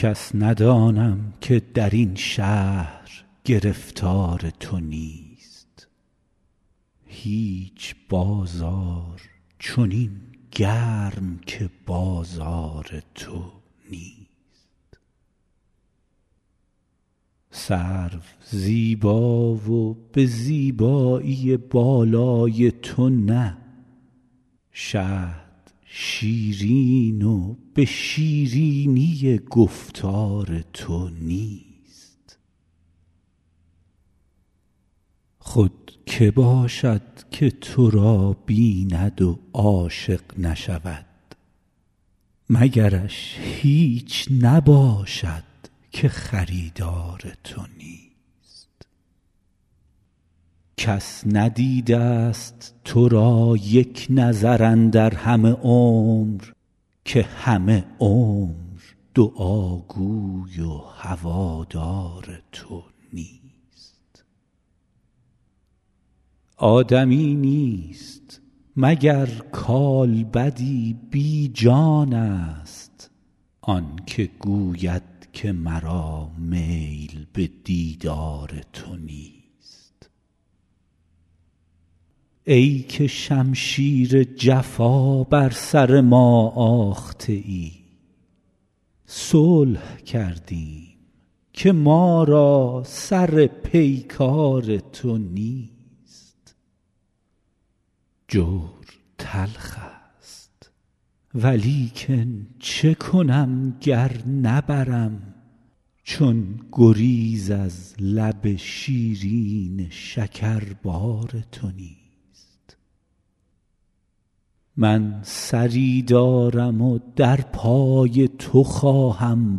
کس ندانم که در این شهر گرفتار تو نیست هیچ بازار چنین گرم که بازار تو نیست سرو زیبا و به زیبایی بالای تو نه شهد شیرین و به شیرینی گفتار تو نیست خود که باشد که تو را بیند و عاشق نشود مگرش هیچ نباشد که خریدار تو نیست کس ندیده ست تو را یک نظر اندر همه عمر که همه عمر دعاگوی و هوادار تو نیست آدمی نیست مگر کالبدی بی جانست آن که گوید که مرا میل به دیدار تو نیست ای که شمشیر جفا بر سر ما آخته ای صلح کردیم که ما را سر پیکار تو نیست جور تلخ ست ولیکن چه کنم گر نبرم چون گریز از لب شیرین شکربار تو نیست من سری دارم و در پای تو خواهم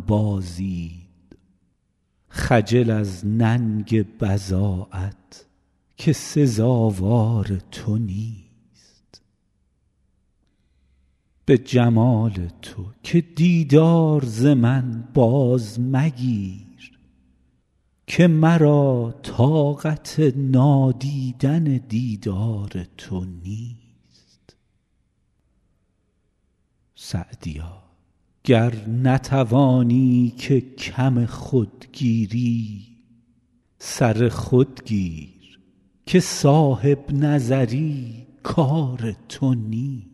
بازید خجل از ننگ بضاعت که سزاوار تو نیست به جمال تو که دیدار ز من باز مگیر که مرا طاقت نادیدن دیدار تو نیست سعدیا گر نتوانی که کم خود گیری سر خود گیر که صاحب نظر ی کار تو نیست